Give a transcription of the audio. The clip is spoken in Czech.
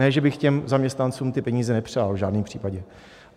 Ne že bych těm zaměstnancům ty peníze nepřál, v žádném případě.